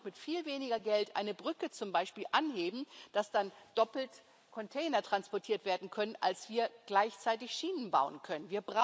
Wir können auch mit viel weniger Geld eine Brücke zum Beispiel anheben, damit dann doppelt Container transportiert werden können, als wir gleichzeitig Schienen bauen können.